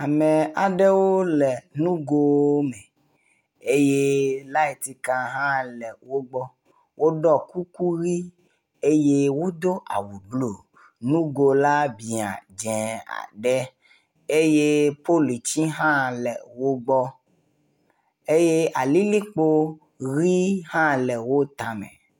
Ame aɖewo le nugo me eye lightika hã le wo gbɔ. Woɖɔ kuku ʋi eye wodo awu blɔ, nugo la biã dzɛ ɖe eye politi hhã le wo gbɔ eye alilikpo ʋe hã le wo tame.